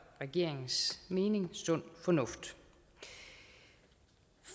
regeringens mening sund fornuft